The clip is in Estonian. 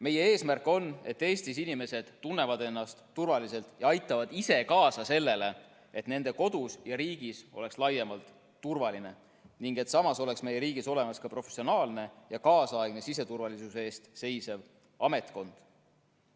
Meie eesmärk on, et Eestis inimesed tunneksid ennast turvaliselt ja aitaksid ise kaasa sellele, et nende kodus ja riigis laiemalt oleks turvaline, ning et samas oleks meie riigis olemas ka professionaalne ja kaasaegne siseturvalisuse eest seisev ametkond.